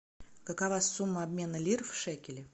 какова сумма обмена лир в шекели